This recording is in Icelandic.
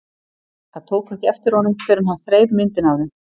Þær tóku ekki eftir honum fyrr en hann þreif myndina af þeim.